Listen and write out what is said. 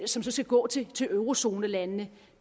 som så skal gå til eurozonelandene